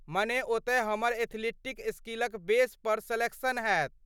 माने, ओतय हमर एथलीटिक स्किलक बेस पर सेलेक्शन हैत?